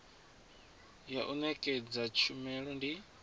ya u nekedza tshumelo ndi